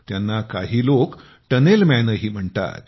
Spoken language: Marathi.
त्यांनाकाही लोक टनेलमॅनही म्हणतात